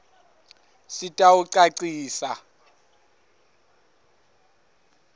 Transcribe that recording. sitawucacisa